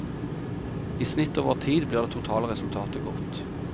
I snitt over tid blir det totale resultatet godt.